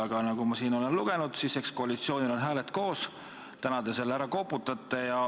Aga nagu ma olen lugenud, koalitsioonil on hääled koos, täna te selle ära koputate.